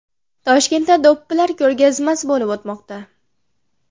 Toshkentda do‘ppilar ko‘rgazmasi bo‘lib o‘tmoqda.